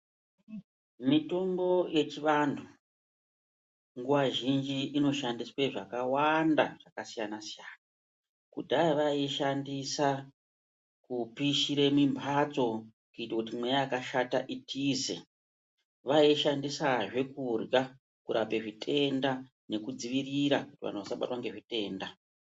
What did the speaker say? Mitombo yechivantu nguva zhinji inoshandiswe zvakawanda zvakasiyana-siyana. Kudhaya vaiishandisa kupishire mimbatso kuito kuti mweya yakashata itize. Vaiishandisazve kurya, kurape zvitenda nedzivirira kuti vantu vasabatwa ngezvitenda.